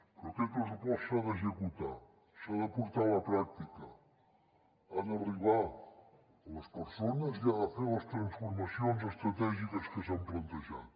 però aquest pressupost s’ha d’executar s’ha de portar a la pràctica ha d’arribar a les persones i ha de fer les transformacions estratègiques que s’han plantejat